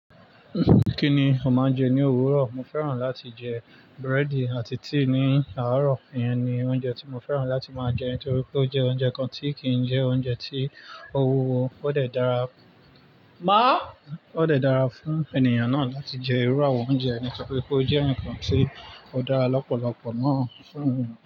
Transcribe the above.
Kí ni ó máa ń jẹ ní òwúrọ̀? Mo fẹ́ràn láti jẹ búrẹ́dì àti tíì ní àárọ̀. Iyan ni oúnjẹ tí mo fẹ́ràn láti máa jẹ nítorí pé ó jẹ́ oúnjẹ kan tí kì í jẹ́ oúnjẹ tí ọwọ́ ó lè dára, máa ó lè dára fún ènìyàn náà láti jẹ irú àwọn oúnjẹ nítorí pé ó jẹ́ ǹkan tí ó dára lọ́pọ̀lọpọ̀ náà fún mi.